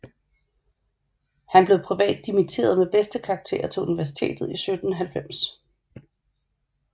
Han blev privat dimitteret med bedste karakter til universitetet i 1790